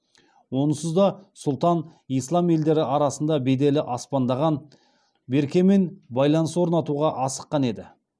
онсыз да сұлтан ислам елдері арасында беделі аспандаған беркемен байланыс орнатуға асыққан еді